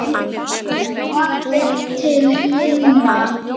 Það er orðin til limra!